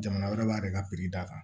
Jamana wɛrɛ b'a yɛrɛ ka d'a kan